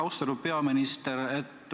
Austatud peaminister!